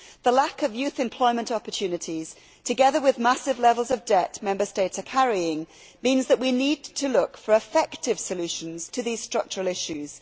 The lack of youth employment opportunities, together with the massive levels of debt which Member States are carrying, means that we need to look for effective solutions to these structural issues.